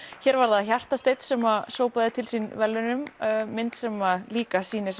hér varð það Hjartasteinn sem að sópaði til sín verðlaunum mynd sem að líka sýnir